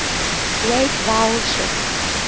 great vowel shift